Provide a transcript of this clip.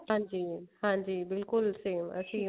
ਹਾਂਜੀ mam ਹਾਂਜੀ ਬਿਲਕੁਲ same